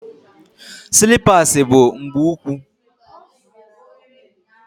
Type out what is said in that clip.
Silipas bu mgbu úkwú